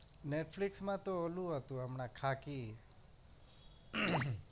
Netflix માં તો ઓલું હતું હમણાં ખાખી